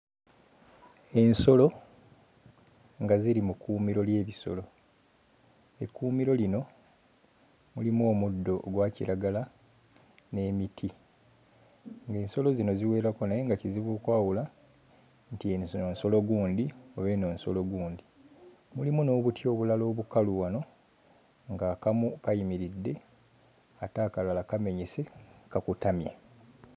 Ensolo nga ziri mu kkuumiro ly'ebisolo. Ekkuumiro lino lirimu omuddo ogwa kiragala n'emiti ng'ensolo zino ziwerako naye nga kizibu okwawula nti eno zino nsolo gundi oba eno nsolo gundi. Mulimu n'obuti obulala obukalu wano ng'akamu kayimiridde ate akalala kamenyese kakutamye.